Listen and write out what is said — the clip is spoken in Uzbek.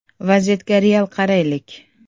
Vaziyatga real qaraylik.